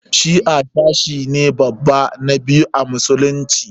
Shi'a sashi ne babba na biyu a musulunci.